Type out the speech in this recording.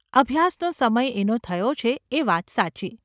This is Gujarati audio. અભ્યાસનો સમય એનો થયો છે એ વાત સાચી.